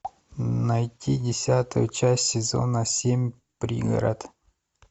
найти десятую часть сезона семь пригород